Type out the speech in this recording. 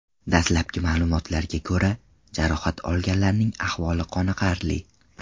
Dastlabki ma’lumotlarga ko‘ra, jarohat olganlarning ahvoli qoniqarli.